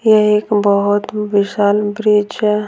ये एक बहुत विशाल ब्रिज है।